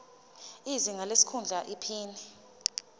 izinga lesikhundla iphini